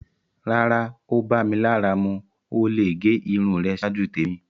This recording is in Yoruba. Rárá, o bá mí lárà mú. O le gé irùn rẹ̀ ṣáàjú tẹ̀mi.